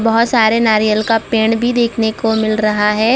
बहोत सारे नारियल का पेड़ भी देखने को मिल रहा है।